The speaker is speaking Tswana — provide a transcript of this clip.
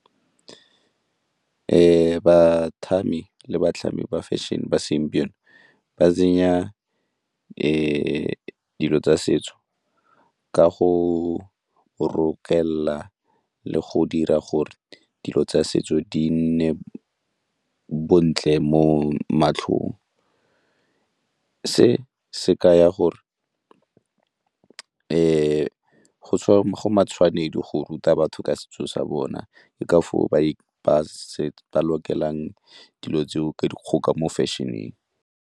le batlhami ba fashion-e ba segompieno ba tsenya dilo tsa setso ka go rokelela le go dira gore dilo tsa setso di nne bontle mo matlhong. Se se kaya gore go matshwanedi go ruta batho ka setso sa bona ke ka foo ba lokelang dilo tseo ka dikgoka mo fashion-eng.